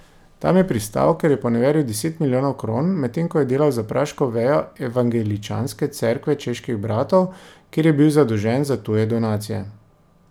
Tam je pristal, ker je poneveril deset milijonov kron, medtem ko je delal za praško vejo Evangeličanske cerkve čeških bratov, kjer je bil zadolžen za tuje donacije.